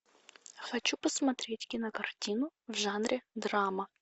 хочу посмотреть кинокартину в жанре драма